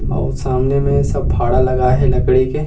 आऊ सामने में सब फाड़ा लगाए हे लकड़ी के--